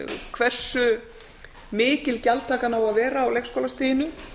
hversu mikil gjaldtakan á að vera á leikskólastiginu